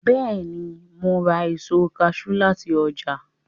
Bẹ́ẹ̀ni, mo ns ra èso kaṣú láti ọjà